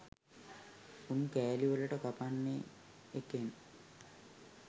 උන් කෑලිවලට කපන්නේ එකෙන්.